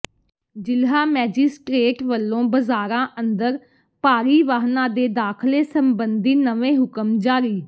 ਜ਼ਿਲ੍ਹਾ ਮੈਜਿਸਟ੍ਰੇਟ ਵਲੋਂ ਬਾਜ਼ਾਰਾਂ ਅੰਦਰ ਭਾਰੀ ਵਾਹਨਾਂ ਦੇ ਦਾਖ਼ਲੇ ਸਬੰਧੀ ਨਵੇਂ ਹੁਕਮ ਜਾਰੀ